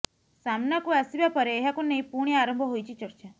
ସାମନାକୁ ଆସିବାପରେ ଏହାକୁ ନେଇ ପୁଣି ଆରମ୍ଭ ହୋଇଛି ଚର୍ଚ୍ଚା